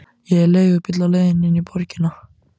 Ég er í leigubíl á leiðinni inn í borgina.